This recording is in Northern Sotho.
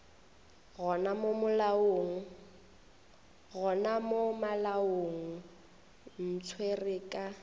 gona mo malaong ntshware ka